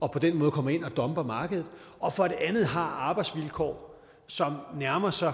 og på den måde kommer ind og dumper markedet og for det andet har arbejdsvilkår som nærmer sig